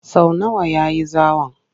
Sau nawa ya yi zawon?